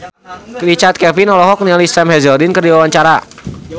Richard Kevin olohok ningali Sam Hazeldine keur diwawancara